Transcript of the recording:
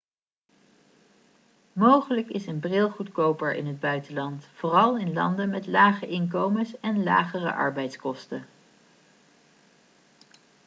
mogelijk is een bril goedkoper in het buitenland vooral in landen met lage inkomens en lagere arbeidskosten